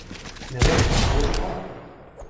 Ne vem, mogoče pa.